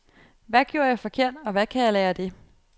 Hvad gjorde jeg forkert, og hvad kan jeg lære af det?